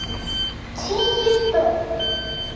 Tíu börn.